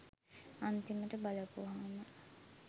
අන්තිමට බලපුවහම